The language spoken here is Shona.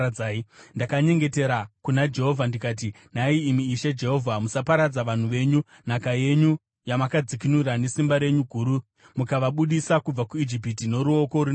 Ndakanyengetera kuna Jehovha ndikati, “Nhai imi Ishe Jehovha, musaparadza vanhu venyu, nhaka yenyu yamakadzikinura nesimba renyu guru mukavabudisa kubva kuIjipiti noruoko rune simba.